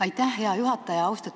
Aitäh, hea juhataja!